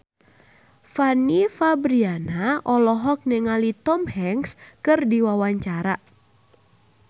Fanny Fabriana olohok ningali Tom Hanks keur diwawancara